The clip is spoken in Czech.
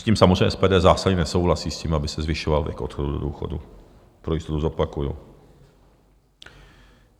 S tím samozřejmě SPD zásadně nesouhlasí, s tím, aby se zvyšoval věk odchodu do důchodu, pro jistotu zopakuju.